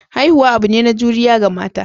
Haihuwa abune na juriya ga mata.